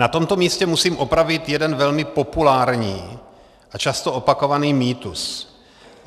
Na tomto místě musím opravit jeden velmi populární a často opakovaný mýtus.